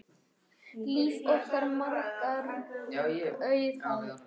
Líf okkar margra auðgaði hann.